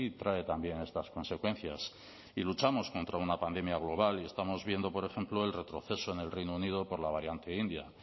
trae también estas consecuencias y luchamos contra una pandemia global y estamos viendo por ejemplo el retroceso en el reino unido por la variante india